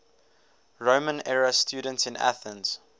roman era students in athens